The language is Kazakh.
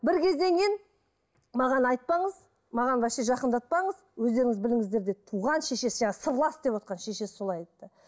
бір кезден кейін маған айтпаңыз маған вообще жақындатпаңыз өздеріңіз біліңіздер деді туған шешесі жаңа сырлас деп отырған шешесі солай айтты